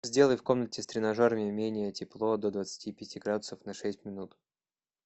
сделай в комнате с тренажерами менее тепло до двадцати пяти градусов на шесть минут